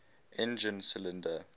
engine cylinder